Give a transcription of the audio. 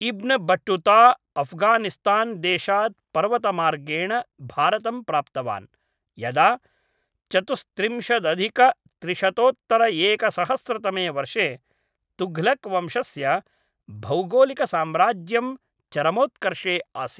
इब्न Battuta Afghanistan देशात् पर्वतमार्गेण भारतं प्राप्तवान्, यदा चतुस्त्रिंशदधिकत्रिशतोत्तरएकसहस्रतमे वर्षे तुघलक् वंशस्य भौगोलिकसाम्राज्यं चरमोत्कर्षे आसीत्।